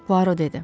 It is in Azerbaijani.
Puaro dedi.